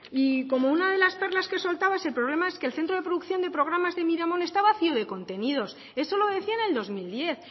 y como una de las perlas que soltaba su problema es que el centro de producción de programas de miramon esta vacío de contenidos eso lo decía en el dos mil diez